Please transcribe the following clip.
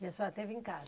E a senhora teve em casa?